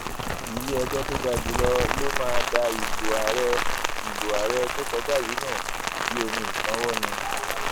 iléẹjọ tó ga jù lọ máa da ìbò àárẹ ìbò àárẹ tó kọjá yìí nù bíi omi ìsanwó ni